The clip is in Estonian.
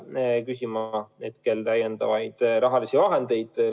Me ei tule praegu täiendavaid rahalisi vahendeid küsima.